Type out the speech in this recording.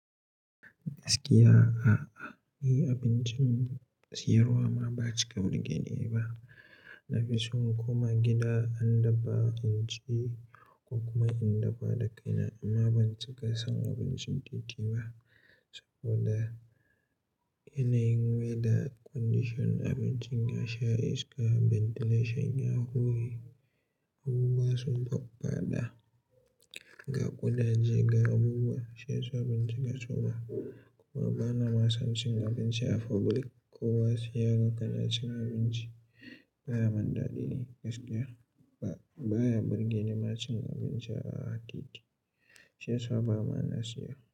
Gaskiya a'a, ni abincin siyarwa ma ban cika wani gani ba. Nafison inkoma gida in dafa inci ko kuma in dafa da kaina amma ban cika san abincin titi ba saboda yanayin weather condition abincin ya sha iska, ventilation ya hure, abubuwa sun faffada, ga ƙudaje, ga abubuwa. Shi yasa ban cika so ba kuma bana mason cin abinci a public ko wasu suga kanacin abinci baya mun dadi ni gaskiya. Ba, baya burgeni ma cin abinci a titi, shi yasa ba ma na siya.